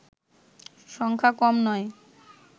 সংখ্যা কম নয়